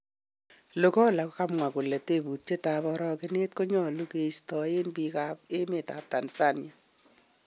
Lugola kokamwa kole teputiet ap aragenet konyalu kista en pik ap emetap Tanzania